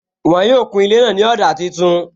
Wọn yóò kun ilé náà ní ọ̀dà tuntun